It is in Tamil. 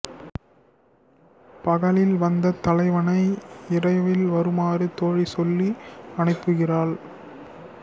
பகலில் வந்த தலைவனை இரவில் வருமாறு தோழி சொல்லி அனுப்புகிறாள்